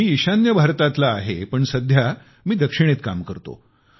मी ईशान्य भारतातील आहे पण सध्या मी दक्षिणेत काम करतो